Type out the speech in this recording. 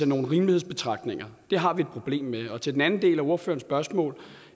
nogle rimelighedsbetragtninger har vi et problem med til den anden del af ordførerens spørgsmål